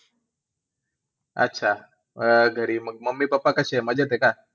अच्छा. अं घरी मग mummy, papa कसे आहेत? मजेत आहे का?